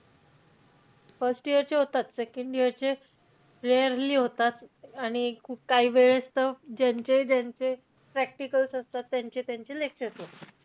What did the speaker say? First year चे होतात. second year चे rarely होतात. आणि एक, काही वेळेस त ज्यांचे-ज्यांचे practicals असतात. त्यांचे-त्यांचे lectures होतात.